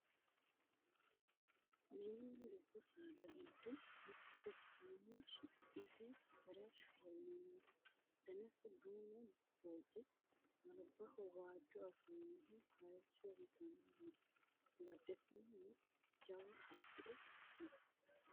mininna dubbu saada giddo mitto ikkinohu su'masi farashshoho yinanihu danasi duumu booqi albaho waajjo afirinohu hayesso itanni no badhesiinni jawa haqqe no